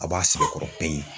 A b'a sɛbɛkɔrɔ